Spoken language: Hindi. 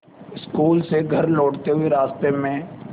स्कूल से घर लौटते हुए रास्ते में